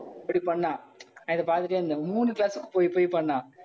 இப்படி பண்ணான் அதை பார்த்துட்டே இருந்தாங்க மூணு class க்கு போய் போய் பண்ணான்.